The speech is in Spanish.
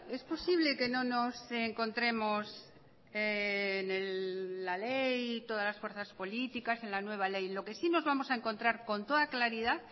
es posible que no nos encontremos en la ley todas fuerzas políticas en la nueva ley lo que sí nos vamos a encontrar con toda claridad